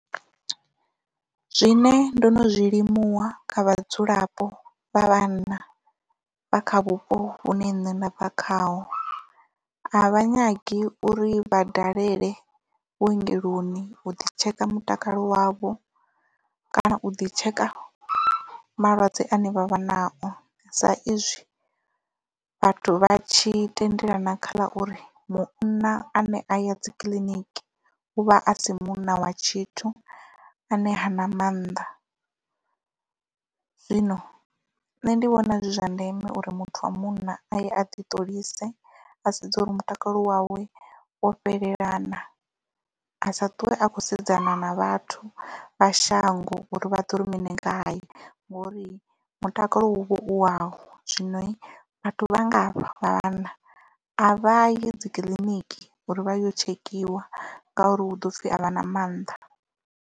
Zwine ndo no zwilimuwa kha vhadzulapo vha vhanna vha kha vhupo vhune nṋe nda bva khaho a vha nyagi uri vha dalele vhuongeloni u ḓi tsheka mutakalo wavho kana u ḓi tsheka malwadze ane vha vha nao sa izwi vhathu vha tshi tendelana khala uri munna ane a ya dzikiḽiniki u vha asi munna wa tshithu ane ha na maanḓa zwino nṋe ndi vhona zwi zwa ndeme uri muthu wa munna aye a ḓi ṱolise a sedze uri mutakalo wawe wo fhelelana a sa ṱuwe a kho sedzana na vhathu vha shango uri vha ḓo ri mini ngae ngori mutakalo hu vha u wavho zwino vhathu vha nga hafha vha vhanna a vha yi dzi kiḽiniki uri vha yo tshekhiwa ngauri hu ḓo pfhi a vha na mannḓa.